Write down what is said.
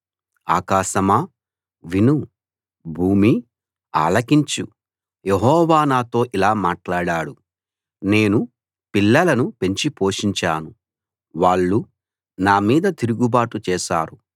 ఆకాశమా విను భూమీ ఆలకించు యెహోవా నాతో ఇలా మాట్లాడాడు నేను పిల్లలను పెంచి పోషించాను వాళ్ళు నా మీద తిరుగుబాటు చేశారు